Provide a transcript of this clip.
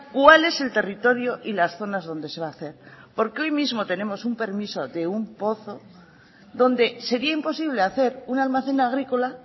cuál es el territorio y las zonas donde se va a hacer porque hoy mismo tenemos un permiso de un pozo donde sería imposible hacer un almacén agrícola